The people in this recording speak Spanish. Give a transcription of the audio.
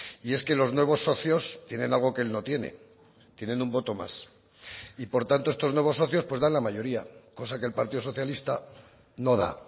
y es que los nuevos socios tienen algo que él no tiene tienen un voto más y por tanto estos nuevos socios pues dan la mayoría cosa que el partido socialista no da